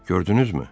Gördünüzmü?